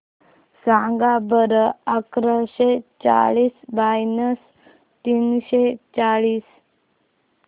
सांगा बरं अकराशे चाळीस मायनस तीनशे चाळीस